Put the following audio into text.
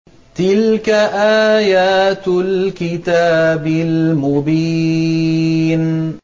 تِلْكَ آيَاتُ الْكِتَابِ الْمُبِينِ